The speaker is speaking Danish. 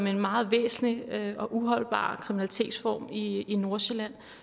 en meget væsentlig og uholdbar kriminalitetsform i i nordsjælland